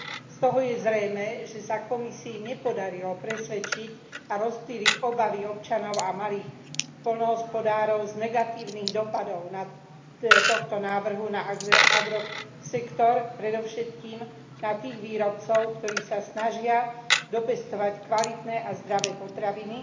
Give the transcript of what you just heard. Z toho je zrejmé, že sa Komisii nepodarilo presvedčiť a rozptýliť obavy občanov a malých poľnohospodárov z negatívnych dosahov tohto návrhu na agrosektor, predovšetkým na tých výrobcov, ktorí sa snažia dopestovať kvalitné a zdravé potraviny